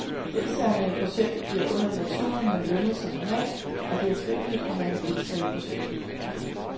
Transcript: Deltagerne i projektet bliver under lektionerne lønnet som normalt, og det er frivilligt, om man vil deltage i projektet.